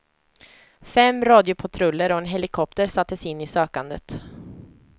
Fem radiopatruller och en helikopter sattes in i sökandet.